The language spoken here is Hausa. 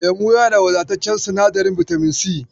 Lemu yana da wadataccen sinadarin bitamin si.